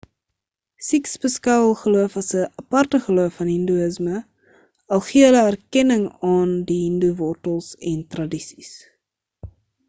sikhs beskou hul geloof as 'n aparte geloof van hindoeísme al gee hulle erkenning aan die hindoe wortels en tradisies